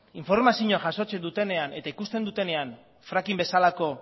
informazioa jasotzen dutenean eta ikusten dutenean fracking bezalako